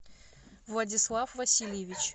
владислав васильевич